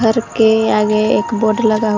घर के आगे एक बोर्ड लगा हुआ--